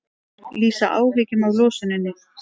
Lýsa áhyggjum af losuninni